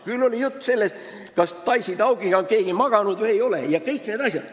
Küll on olnud juttu sellest, kas keegi on või ei ole Daisy Taukiga maganud jms.